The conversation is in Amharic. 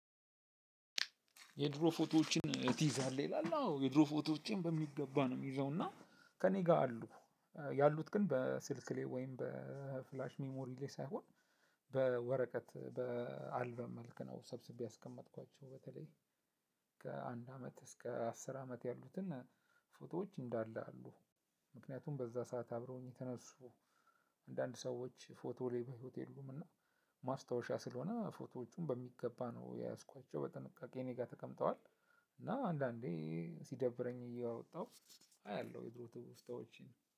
የድሮ ፎቶዎችን ትይዛለህ? ይላል። የድሮ ፎቶዎችን በሚገባ ነው የሚይዘው። እና ከእኔ ጋር አሉ። ያሉት ግን በስልክ ላይ ወይም በፍላሽ፣ ሜሞሪ ላይ ሳይሆን በወረቀት፣ በአልበም መልክ ነው ሰብስቤ ያስቀመጥኳቸው። በተለይ ከአንድ አመት እስከ አስር አመት ያሉትን ፎቶዎች እንዳለ አሉ። ምክንያቱም በዛ ሰዓት አብረውኝ የተነሱ አንዳንድ ሰዎች ፎቶ ላይ በህይወት የሉም። እና ማስታወሻ ስለሆነ ፎቶዎቹን በሚገባ ነው የያዝኳቸው። በጥንቃቄ እኔ ጋር ተቀምጠዋል። እና አንዳንዴ ሲደብረኝ እያወጣሁ አያለሁ የድሮ ትውስታዎችን።